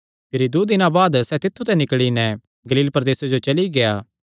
भिरी दूँ दिनां बाद सैह़ तित्थु ते निकल़ी नैं गलील प्रदेसे जो चली गेआ